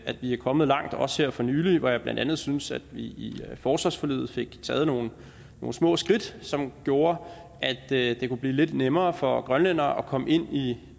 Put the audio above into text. at vi er kommet langt også her for nylig hvor jeg blandt andet synes at vi i forsvarsforliget fik taget nogle små skridt som gjorde at det kunne blive lidt nemmere for grønlændere at komme ind i